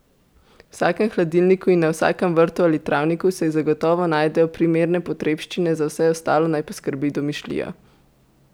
V vsakem hladilniku in na vsakem vrtu ali travniku se zagotovo najdejo primerne potrebščine, za vse ostalo naj poskrbi domišljija!